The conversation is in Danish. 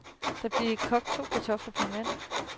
Der blev kogt to kartofler per mand.